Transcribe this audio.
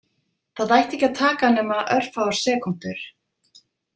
Það ætti ekki að taka nema örfáar sekúndur.